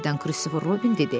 Birdən Christopher Robin dedi: